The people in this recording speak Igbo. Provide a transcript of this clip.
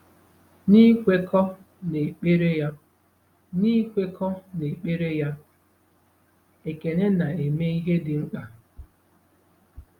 N'ikwekọ n'ekpere ya, N'ikwekọ n'ekpere ya, Ekene na-eme ihe dị mkpa.